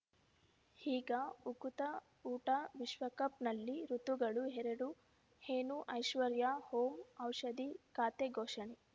ಈಗ ಉಕುತ ಊಟ ವಿಶ್ವಕಪ್‌ನಲ್ಲಿ ಋತುಗಳು ಎರಡು ಏನು ಐಶ್ವರ್ಯಾ ಓಂ ಔಷಧಿ ಖಾತೆ ಘೋಷಣೆ